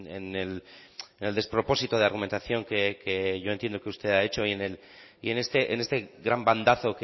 en el despropósito de argumentación que yo entiendo que usted ha hecho y en este gran bandazo